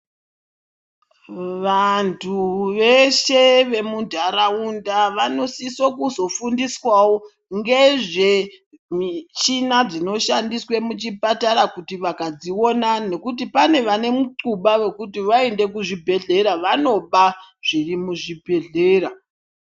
Vantu veshe vemunharaunda vanosise kuzofundiswawo ngezvemichina dzinoshandiswa muchipatara kuti vakadziona nekuti pane vanemunxluba wekuti vaende kuzvibhehlera vanoba zvirimuzvibhehlera.